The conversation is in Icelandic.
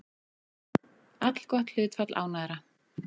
Allgott hlutfall ánægðra